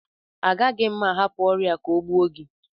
Agaghị m ahapụ ọrịa a ka ọ gbuo gị